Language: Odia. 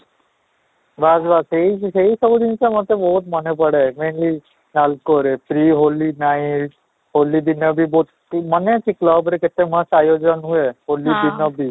ବାସ ବାସ ସେଇ ସେଇ ସବୁ ଜିନିଷ ମୋତେ ବହୁତ ମନେପଡେ mainly ନାଲକୋ ରେ pre ହୋଲି night ହୋଲି ଦିନ ବି ମନେଅଛି clubରେ କେତେ mast ଆୟୋଜନ ହୁଏ ହୋଲି ଦିନ ବି